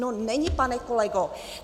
No není, pane kolego!